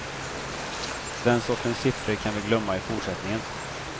Den sortens siffror kan vi glömma i fortsättningen.